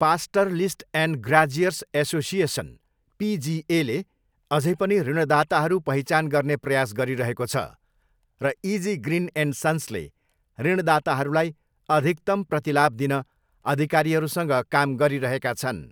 Pastoralist and graziers association, पिजिएले अझै पनि ऋणदाताहरू पहिचान गर्ने प्रयास गरिरहेको छ र इजी ग्रिन एन्ड सन्सले 'ऋणदाताहरूलाई अधिकतम प्रतिलाभ दिन' अधिकारीहरूसँग काम गरिरहेका छन्।